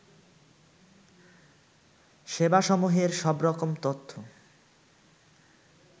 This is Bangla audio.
সেবাসমূহের সবরকম তথ্য